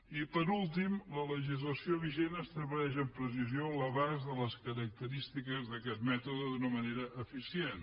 i per últim la legislació vigent estableix amb precisió l’abast de les característiques d’aquest mètode d’una manera eficient